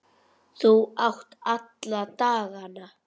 Þú átt alla dagana.